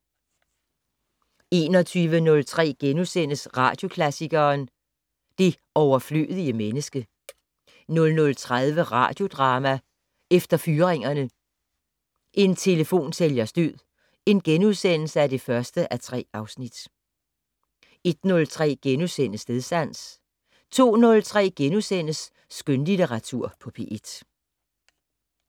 21:03: Radioklassikeren: Det overflødige menneske * 00:30: Radiodrama: Efter fyringerne: En telefonsælgers død (1:3)* 01:03: Stedsans * 02:03: Skønlitteratur på P1 *